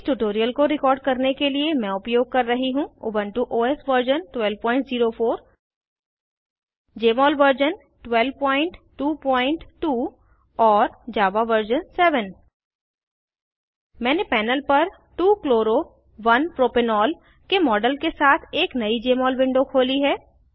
इस ट्यूटोरियल को रिकॉर्ड करने के लिए मैं उपयोग कर रही हूँ Ubuntu OS version 1204 Jmol version 1222 और जावा वर्जन 7 मैंने पैनल पर 2 chloro 1 प्रोपेनॉल के मॉडल के साथ एक नयी जमोल विंडो खोली है